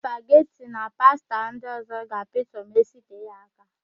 Spageti na pasta ndị ọ̀zọ́ ga-apịtọ ma isitee ha áká.